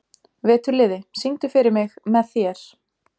Veturliði, syngdu fyrir mig „Með þér“.